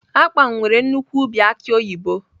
Akpan nwere nnukwu ubi aki oyibo